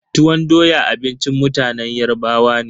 Tuwon doya abincin mutanen Yarbawa ne.